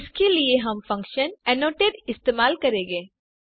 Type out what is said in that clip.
इसके लिए हम फंक्शन एनोटेट इस्तेमाल करेंगे